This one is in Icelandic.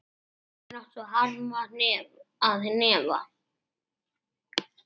Sumir áttu harma að hefna.